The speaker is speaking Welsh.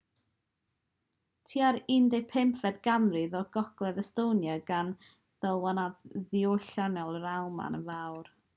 tua'r 15fed ganrif roedd gogledd estonia dan ddylanwad diwylliannol yr almaen yn fawr